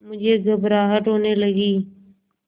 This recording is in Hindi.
मुझे घबराहट होने लगी